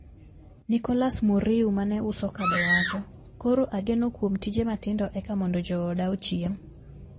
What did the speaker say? Nicolous Muriu mane uso kado wacho," koro agenokuom tije matindo eka mondo jooda ochiem."